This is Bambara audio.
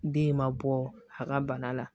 Den ma bɔ a ka bana la